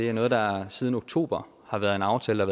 er noget der siden oktober har været en aftale